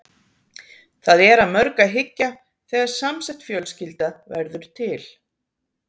Það er að mörgu að hyggja þegar samsett fjölskylda verður til.